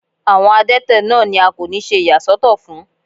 Àwọn adẹ́tẹ̀ náà ni a kò ní ṣe ìyà sọ́tọ̀ fún.